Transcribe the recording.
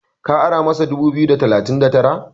ku ara masa dubu biyu da talatin da Tara?